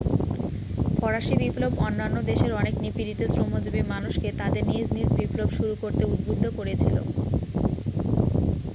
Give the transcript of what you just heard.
ফরাসী বিপ্লব অন্যান্য দেশের অনেক নিপীড়িত শ্রমজীবী মানুষকে তাদের নিজ নিজ বিপ্লব শুরু করতে উদ্বুদ্ধ করেছিল